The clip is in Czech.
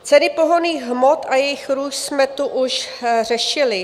Ceny pohonných hmot a jejich růst jsme tu už řešili.